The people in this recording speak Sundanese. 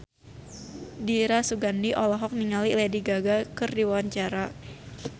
Dira Sugandi olohok ningali Lady Gaga keur diwawancara